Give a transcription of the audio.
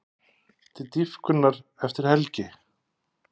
Til dýpkunar eftir helgi